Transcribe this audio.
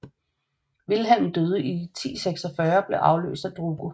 Vilhelm døde i 1046 og blev afløst af Drogo